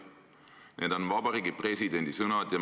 " Need on Vabariigi Presidendi sõnad.